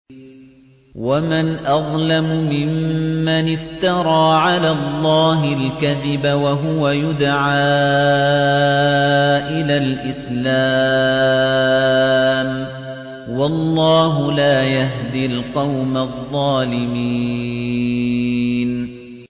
وَمَنْ أَظْلَمُ مِمَّنِ افْتَرَىٰ عَلَى اللَّهِ الْكَذِبَ وَهُوَ يُدْعَىٰ إِلَى الْإِسْلَامِ ۚ وَاللَّهُ لَا يَهْدِي الْقَوْمَ الظَّالِمِينَ